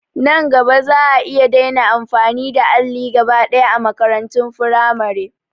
Nan gaba za'a iya daina amfani da alli gaba ɗaya a makarantun firamare